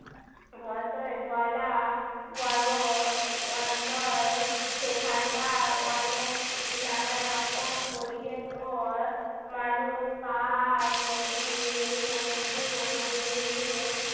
মতো বলা বড়ো অঞ্চল সেখানকার অনেক নানা রকম পরিবেশ ও মানুষ পাহাড় নদী সমুদ্র মরুভূমি